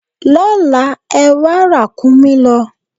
Lọ́la, ẹwà ràkúnmí lọ!